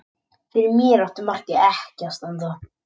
Fyrir mér átti markið ekki að standa.